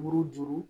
Buruju